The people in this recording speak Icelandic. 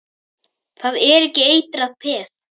Það er ekki eitrað peð?